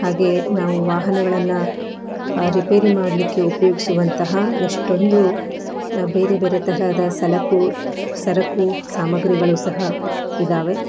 ಹಾಗೆ ನಾವು ವಾಹನಗಳನ್ನ ರಿಪೇರಿ ಮಾಡಲಿಕ್ಕೆ ಉಪಯೋಗಿಸುವಂತಹ ಎಷ್ಟೊಂದು ಬೇರೆ ಬೇರೆ ತರಹದ ಸಲಕು ಸರಕು ಸಾಮಗ್ರಿಗಳು ಸಹ ಇದಾವೆ.